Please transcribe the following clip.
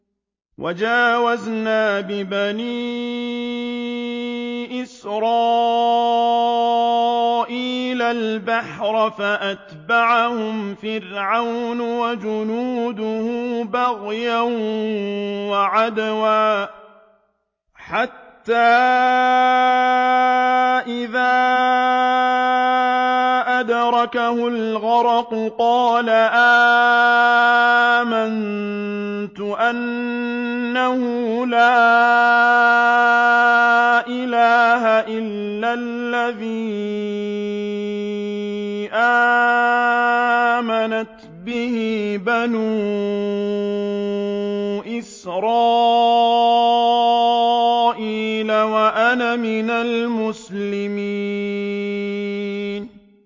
۞ وَجَاوَزْنَا بِبَنِي إِسْرَائِيلَ الْبَحْرَ فَأَتْبَعَهُمْ فِرْعَوْنُ وَجُنُودُهُ بَغْيًا وَعَدْوًا ۖ حَتَّىٰ إِذَا أَدْرَكَهُ الْغَرَقُ قَالَ آمَنتُ أَنَّهُ لَا إِلَٰهَ إِلَّا الَّذِي آمَنَتْ بِهِ بَنُو إِسْرَائِيلَ وَأَنَا مِنَ الْمُسْلِمِينَ